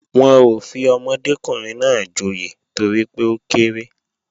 Wọn ò fi ọmọdékùnrin náà joyè torí pé ó kéré